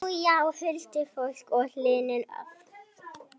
Já, já, huldufólk og hulin öfl.